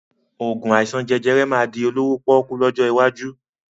Oògùn àìsàn jẹjẹrẹ máa di olówó pọ́kú lọ́jọ́ iwájú